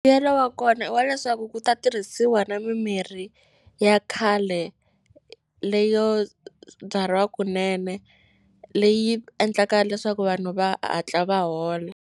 Mbuyelo wa kona i wa leswaku ku ta tirhisiwa na mimirhi ya khale leyo byariwa kunene leyi endlaka leswaku vanhu va hatla va hola.